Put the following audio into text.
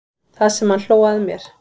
Það sem hann hló að mér.